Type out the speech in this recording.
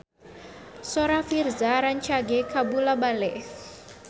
Sora Virzha rancage kabula-bale